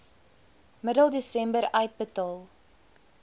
middel desember uitbetaal